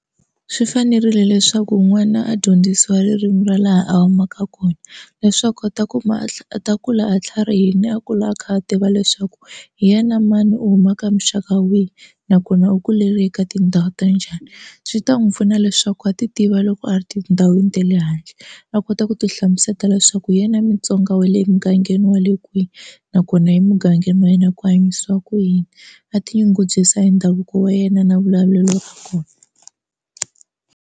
Swi fanerile leswaku n'wana a dyondzisiwa ririmu ra laha a humaka kona leswaku a ta kuma a ta kula a tlharihile a kula a kha a tiva leswaku hi yena mani u huma ka muxaka wihi nakona u kulele eka tindhawu ta njhani swi ta n'wu pfuna leswaku a ti tiva loko a ri tindhawini ta le handle a kota ku ti hlamusela leswaku hi yena Mutsonga we le mugangeni wa le kwi nakona emugangeni wa yena ku hanyisiwa ku yini a ti nyungubyisa hi ndhavuko wa yena na vulavulelo ra .